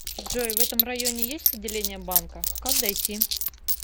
джой в этом районе есть отделение банка как дойти